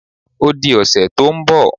O di ọ̀sẹ̀ tó ń bọ̀